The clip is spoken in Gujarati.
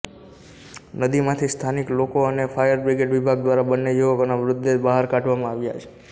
નદીમાંથી સ્થાનિક લોકો અને ફાયર બ્રિગેડ વિભાગ દ્વારા બંને યુવકોના મૃતદેહ બહાર કાઢવામાં આવ્યા છે